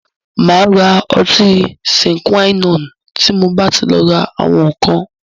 Mà rá ọtí "Sine Qua non" tí mo bá ti lọ ra àwọn ǹkan.